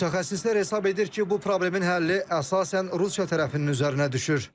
Mütəxəssislər hesab edir ki, bu problemin həlli əsasən Rusiya tərəfinin üzərinə düşür.